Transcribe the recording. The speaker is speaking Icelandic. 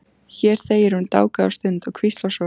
Hér þegir hún dágóða stund og hvíslar svo